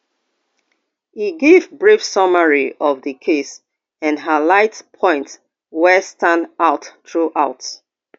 e give brief summary of di case and highlight points wey stand out throughout